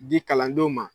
Di kalandenw ma